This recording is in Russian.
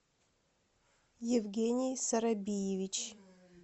евгений сарабиевич